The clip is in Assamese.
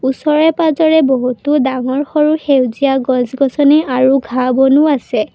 ওচৰে পাজৰে বহুতো ডাঙৰ সৰু সেউজীয়া গছ-গছনি আৰু ঘাঁহ বনো আছে।